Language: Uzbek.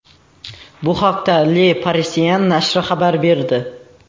Bu haqda Le Parisien nashri xabar berdi .